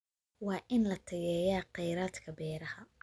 Waa in la tayeeyaa kheyraadka beeraha.